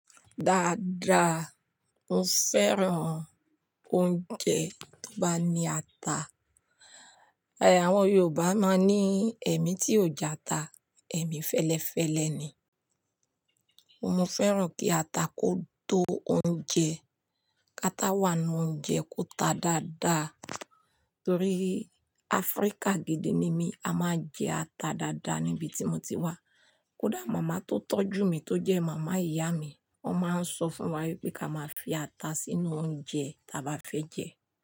Dáadáa, mo fẹ́ràn oúnjẹ tó bá ní ata. Ẹ̀, àwọn Yorùbá máa ń ní "Èmi tí ò jẹ ata, èmi fẹ́lẹ́fẹ́lẹ ni". Mo fẹ́ràn kí ata kó tó oúnjẹ, kata wá nínú oúnjẹ kó ta dáadáa. Torí Africa gidi ni mí, a máa jẹ ata dáadáa níbi tí mo ti wá. Kódà màmá tó tọ́jú mi tó jẹ́ màmá ìyá mi, ó máa ń sọ fún wa wípé ká máa fi ata sínú oúnjẹ táa bá fẹ́ jẹ.